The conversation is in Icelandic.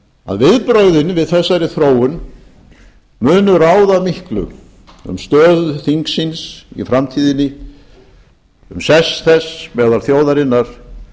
að viðbrögðin við þessari þróun munu ráða miklu um stöðu þingsins í framtíðinni um sess þess meðal þjóðarinnar